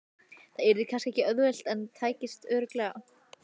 Það yrði kannski ekki auðvelt en tækist örugglega.